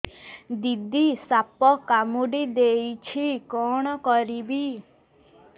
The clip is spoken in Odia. ଦିଦି ସାପ କାମୁଡି ଦେଇଛି କଣ କରିବି